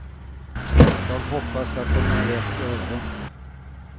Jag hoppas att den når rätt öron.